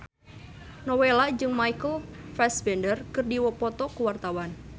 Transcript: Nowela jeung Michael Fassbender keur dipoto ku wartawan